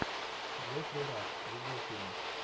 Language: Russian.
джеффри раш видеофильм